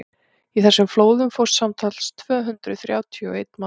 í þessum flóðum fórst samtals tvö hundruð þrjátíu og einn maður